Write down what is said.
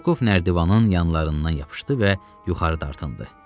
Rokov nərdivanın yanlarından yapışdı və yuxarı dartındı.